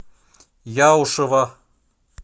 яушева